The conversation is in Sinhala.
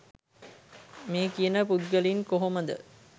මේ කියන පුද්ගලයින් කොහොමද